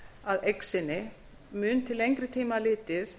að eign sinni mun til lengri tíma litið